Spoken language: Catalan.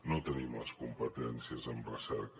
no tenim les competències en recerca